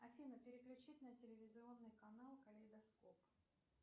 афина переключить на телевизионный канал калейдоскоп